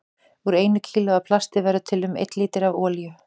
Úr einu kílói af plasti verður til um einn lítri af olíu.